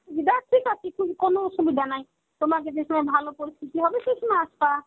অসুবিধা আছে ঠিক আছে কোনো অসুবিধা নাই. তোমাদের যেসময়ে ভালো পরিস্থিতি হবে সেই সময় আসবা.